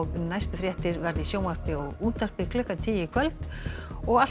næstu fréttir verða í sjónvarpi og útvarpi klukkan tíu í kvöld og alltaf